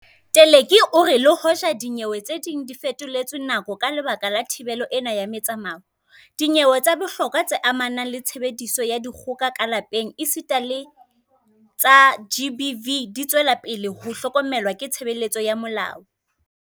Teleki o re le hoja dinyewe tse ding di fetoletswe nako ka lebaka la thibelo ena ya metsamao, dinyewe tsa bohlokwa tse amanang le tshebediso ya dikgoka ka lapeng esita le tsa GBV di tswela pele ho hlokomelwa ke tshebeletso ya molao.